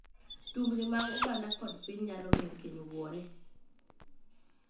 Tungni mag oganda kod mag piny nyalo miyo keny wuore.